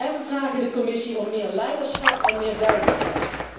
En wij vragen de Commissie om meer leiderschap en meer duidelijkheid.